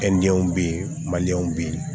Kɛndɛnw bɛ yen maliɲɛnw bɛ yen